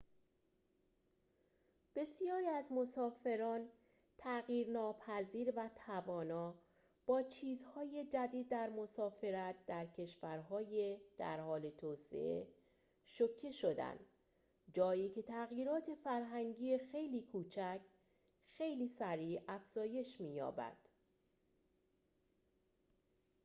بسیاری از مسافران تغییر ناپذیر و توانا با چیزهای جدید در مسافرت در کشورهای در حال توسعه شوکه شدند جایی که تغییرات فرهنگی خیلی کوچک خیلی سریع افزایش می‌یابد